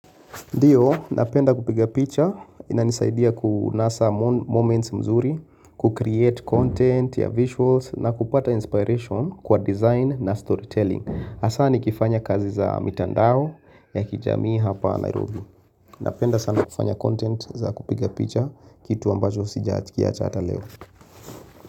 Ndiyo, napenda kupiga picha, inanisaidia kunasa moments mzuri, ku create content ya visuals, na kupata inspiration kwa design na storytelling. Hasani kifanya kazi za mitandao ya kijamii hapa Nairobi. Napenda sana kufanya content za kupiga picha, kitu ambajo sijakiacha ata leo.